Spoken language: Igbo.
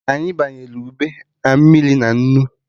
Anyị banyere ube na mmiri na nnu